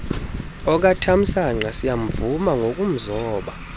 okatamsanqa siyamvuma ngokumzoba